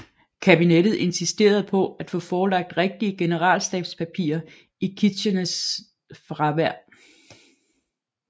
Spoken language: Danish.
Kabinettet insisterede på at få forelagt rigtige generalstabspapirer i Kitcheners fravær